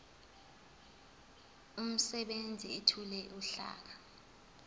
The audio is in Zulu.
umsebenzi ethule uhlaka